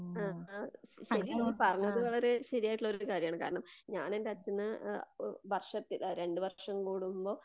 ആ അ ശരിയാണ് നീ പറഞ്ഞത് വളരെ ശെരിയായിട്ടുള്ള കാര്യമാണ്. കാരണം ഞാൻ എന്റെ അച്ഛനെ ആ ഹ് വർഷത്തില് ആ രണ്ട് വർഷം കൂടുമ്പോൾ